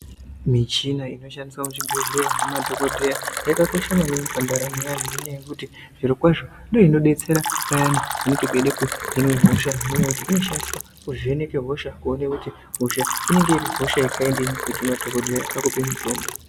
Michina inoshandiswa kuzvibhedhleya nemaDhokodheya yakakosha maningi pandaramo yeanhu nendaa yekuti zviro kwazvo ndiyo inobetsera payani panenge peida kuhinwe hosha nekuti inoshandiswa kuvheneka hosha kuona kuti hosha inenge iri hosha yekhaindini kuti madhokodheya akupe mutombo.